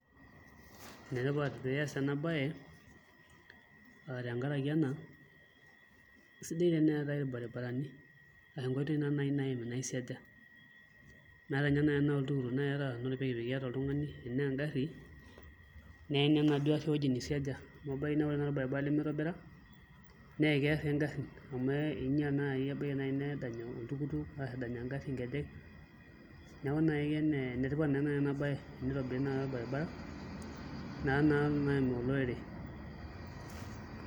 Enetipat pee iaas ena baye aa tenkaraki ena sidai teneetai irbaribarani ashu nkoitoi naai naimi naisiaja metaa ninye naai tenaa oltukutuk iata oltung'ani, enaa engarri neim naa ewueji naisiaja amu teneeim orbaribara lemitobira naa keerr toi ingarrin amu inyial naai ebaiki naai nedany oltukutuk arashu edany engarri nkejek neeku enetipat naa naai ena baye tenitobiri naai orbaribara naa oim olorere.